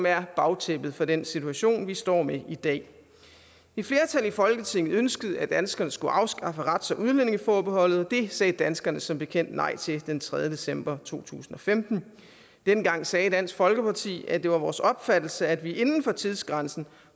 er bagtæppet for den situation vi står med i dag et flertal i folketinget ønskede at danskerne skulle afskaffe rets og udlændingeforbeholdet og det sagde danskerne som bekendt nej til den tredje december to tusind og femten dengang sagde dansk folkeparti at det var vores opfattelse at vi inden for tidsgrænsen